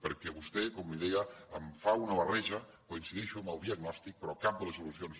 perquè vostè com li deia em fa una barreja coincideixo amb el diagnòstic però cap de les solucions